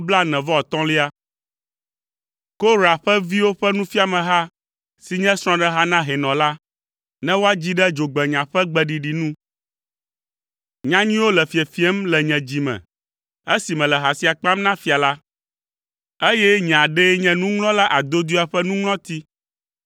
Korah ƒe viwo ƒe nufiameha si nye srɔ̃ɖeha na hɛnɔ la, ne woadzi ɖe dzogbenya ƒe gbeɖiɖi nu. Nya nyuiwo le fiefiem le nye dzi me esi mele ha sia kpam na fia la, eye nye aɖee nye nuŋlɔla adodoea ƒe nuŋlɔti.